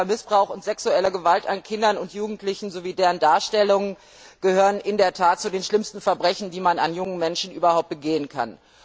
Sexueller Missbrauch und sexuelle Gewalt an Kindern und Jugendlichen sowie deren Darstellung gehören in der Tat zu den schlimmsten Verbrechen, die man an jungen Menschen überhaupt begehen kann.